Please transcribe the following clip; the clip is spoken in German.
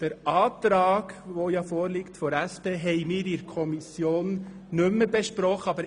Den Abänderungsantrag der SP haben wir in der Kommission nicht mehr besprochen.